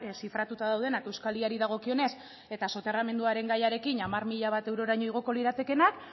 zifratuta daudenak euskal y ari dagokionez eta soterramenduaren gaiarekin hamar mila bat eurotaraino igoko liratekeena